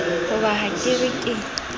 hoba ha ke re ke